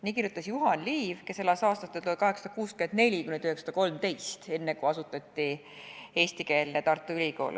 " Nii kirjutas Juhan Liiv, kes elas aastatel 1864–1913, enne, kui asutati eestikeelne Tartu Ülikool.